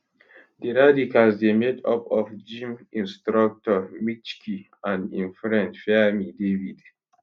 di radicals dey made up of gym instructor michky and im friend fairme david